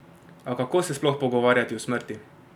A kako se sploh pogovarjati o smrti?